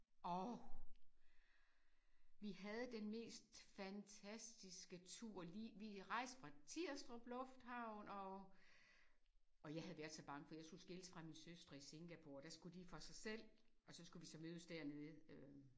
Og vi havde den mest fantastiske tur! Lige vi rejste fra Tirstrup lufthavn og og jeg havde været så bange for jeg skulle skilles fra mine søstre i Singapore der skulle de for sig selv og så skulle vi så mødes dernede øh